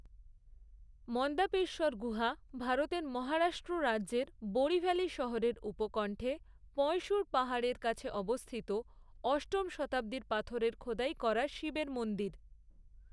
মন্দাপেশ্বর গুহা ভারতের মহারাষ্ট্র রাজ্যের বোরিভালি শহরের উপকণ্ঠে পয়ঁসুর পাহাড়ের কাছে অবস্থিত অষ্টম শতাব্দীর পাথরের খোদাই করা শিবের মন্দির।